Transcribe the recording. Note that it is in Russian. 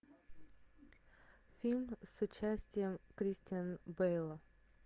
фильм с участием кристиан бэйл